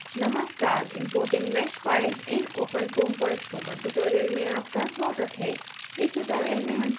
नमस्कार mporting mesh files in openfoam पर spoken tutorial में आपका स्वागत है